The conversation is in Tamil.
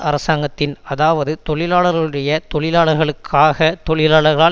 அரசாங்கத்தின் அதாவது தொழிலாளர்களுடைய தொழிலாளர்களுக்காக தொழிலாளர்களால்